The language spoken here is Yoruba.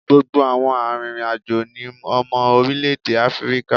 Gbogbo àwọn arìnrìn-àjò ni ọmọ orílẹ̀ èdè Áfíríkà.